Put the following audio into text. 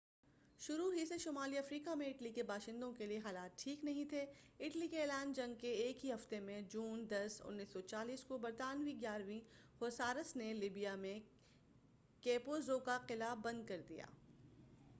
شروع ہی سے شمالی افریقہ میں اٹلی کے باشندوں کے لیے حالات ٹھیک نہیں تھے اٹلی کے اعلان جنگ کے ایک ہی ہفتے میں جون 10 1940کو برطانوی 11ویں ہوسارس نے لیبیا میں کیپوزو کا قلعہ بند کر دیا